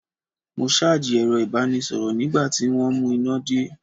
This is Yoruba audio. Mo ṣáàjì ẹ̀rọ ìbánisọ̀rọ̀ nígbà tí wọ́n mú iná dé.